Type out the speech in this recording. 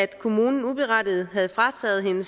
kommunen uberettiget havde frataget hende